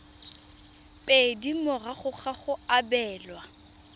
pedi morago ga go abelwa